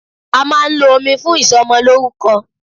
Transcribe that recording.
A máà ń lo omi fún ìsọmọlórúkọ.